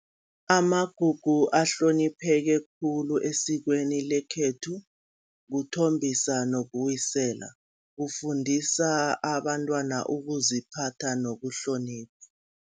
Amagugu ahlonipheke khulu esikweni lekhethu, kuthombisa nokuwisela, kufundisa abantwana ukuziphatha nokuhlonipha.